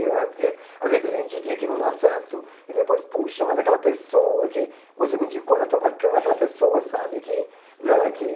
Né porque às vezes a gente indica e não dá certo e depois, puxa, mas aquela pessoa que você me indicou, ela é tão bacana, aquela pessoa, sabe que né que?